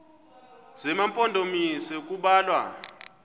zema mpondomise kubalwa